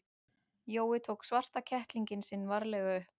Jói tók svarta kettlinginn sinn varlega upp.